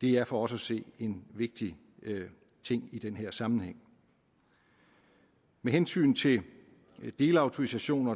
det er for os at se en vigtig ting i den her sammenhæng med hensyn til delautorisationer